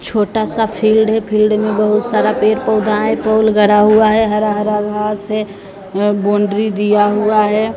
छोटासा फील्ड है फील्ड मे बहुत सारा पेड़ पौधा है पोल गढ़ा हुआ है हरा हरा घास है अं बाउंड्री दिया हुआ है।